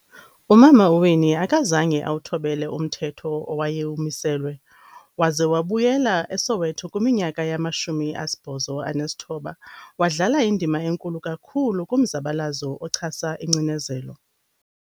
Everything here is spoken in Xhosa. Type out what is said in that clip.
Umama uWinnie akazange awuthobele umthetho owayewumiselwe, waze wabuyela eSoweto kwiminyaka yama-1980 wadlala indima enkulu kakhulu kumzabalazo ochasa ingcinezelo.